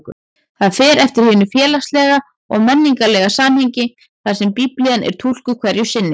Það fer eftir hinu félagslega og menningarlega samhengi þar sem Biblían er túlkuð hverju sinni.